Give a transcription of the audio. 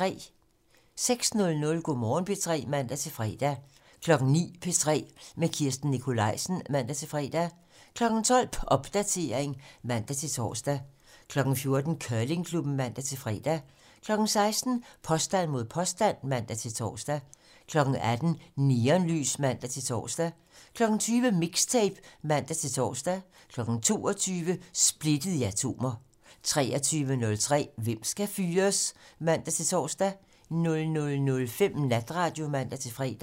06:00: Go' Morgen P3 (man-fre) 09:00: P3 med Line Kirsten Nikolajsen (man-fre) 12:00: Popdatering (man-tor) 14:00: Curlingklubben (man-fre) 16:00: Påstand mod påstand (man-tor) 18:00: Neonlys (man-tor) 20:00: Mixtape (man-tor) 22:00: Splittet til atomer 23:03: Hvem skal fyres? (man-tor) 00:05: Natradio (man-fre)